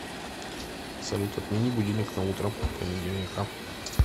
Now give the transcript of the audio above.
салют отмени будильник на утро понедельника